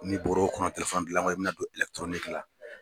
N'i bɔr'o kɔnɔ gilanko i bɛna don la.